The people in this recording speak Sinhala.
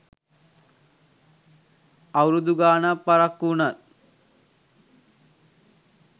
අවුරුද ගාණක් පරක්කු වුණත්